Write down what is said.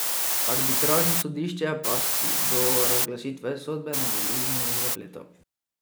Arbitražno sodišče pa si do razglasitve sodbe ne želi novih zapletov.